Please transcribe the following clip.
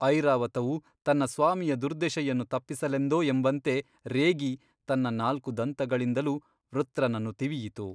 ಐರಾವತವು ತನ್ನ ಸ್ವಾಮಿಯ ದುರ್ದೆಶೆಯನ್ನು ತಪ್ಪಿಸಲೆಂದೋ ಎಂಬಂತೆ ರೇಗಿ ತನ್ನ ನಾಲ್ಕು ದಂತಗಳಿಂದಲೂ ವೃತ್ರನನ್ನು ತಿವಿಯಿತು.